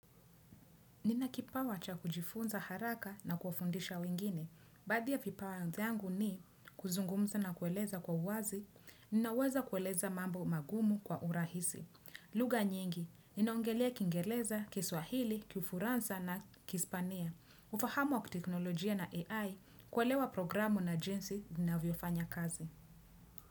Nina kipawa cha kujifunza haraka na kufundisha wengine. Baadhi ya vipawa zangu ni kuzungumza na kueleza kwa uwazi, ninaweza kueleza mambo magumu kwa urahisi. Lugha nyingi, inaongelea kingeleza kiswahili, kiufuransa na kispania. Ufahamu wa kiteknolojia na AI, kuelewa programu na jinsi vinavyofanya kazi.